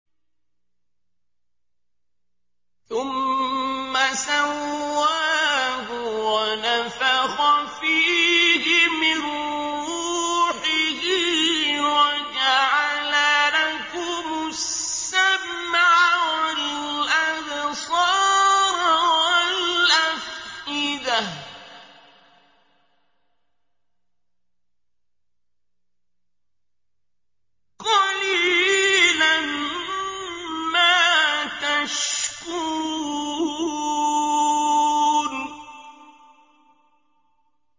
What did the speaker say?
ثُمَّ سَوَّاهُ وَنَفَخَ فِيهِ مِن رُّوحِهِ ۖ وَجَعَلَ لَكُمُ السَّمْعَ وَالْأَبْصَارَ وَالْأَفْئِدَةَ ۚ قَلِيلًا مَّا تَشْكُرُونَ